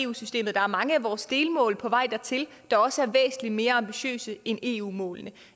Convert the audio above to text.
eu systemet der er mange af vores delmål på vej dertil der også er væsentlig mere ambitiøse end eu målene